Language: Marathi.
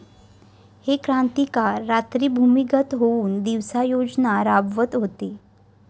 हे क्रांतिकारक रात्री भूमिगत होऊन दिवसा योजना राबवत होते